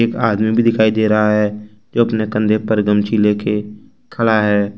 आदमी भी दिखाई दे रहा है जो अपने कंधे पर गमछी लेके खड़ा है।